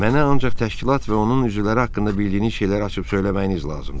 Mənə ancaq təşkilat və onun üzvləri haqqında bildiyiniz şeyləri açıb söyləməyiniz lazımdır.